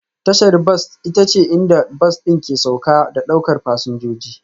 Tashar bas ita ce inda bas ɗin ke sauka da ɗaukar fasinjoji